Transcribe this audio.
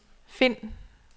find